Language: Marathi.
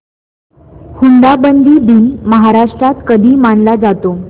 हुंडाबंदी दिन महाराष्ट्रात कधी मानला जातो